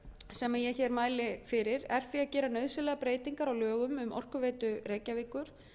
sem ég hér mæli fyrir er því að gera nauðsynlegar breytingar á lögum um orkuveitu reykjavíkur